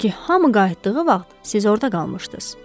Çünki hamı qayıtdığı vaxt siz orada qalmışdız.